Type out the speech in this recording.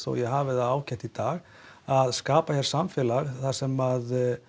að ég hafi það ágætt í dag að skapa hér samfélag þar sem